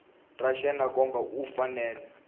ra yena kambe u fanele